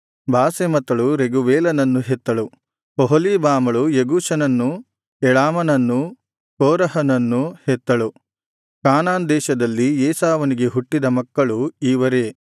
ಒಹೊಲೀಬಾಮಳು ಯೆಗೂಷನನ್ನು ಯಳಾಮನನ್ನೂ ಕೋರಹನನ್ನು ಹೆತ್ತಳು ಕಾನಾನ್ ದೇಶದಲ್ಲಿ ಏಸಾವನಿಗೆ ಹುಟ್ಟಿದ ಮಕ್ಕಳು ಇವರೇ